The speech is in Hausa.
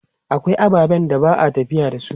Akwai ababen da ba a tafiya da su.